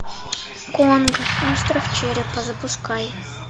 конг остров черепа запускай